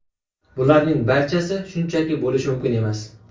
Bularning barchasi shunchaki bo‘lishi mumkin emas.